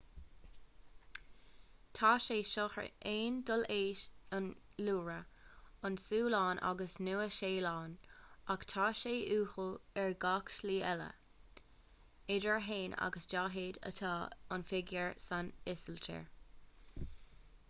tá sé seo ar aon dul leis an iorua an tsualainn agus an nua-shéalainn ach tá sé uathúil ar gach slí eile m.sh. idir a haon agus daichead atá an figiúr san ísiltír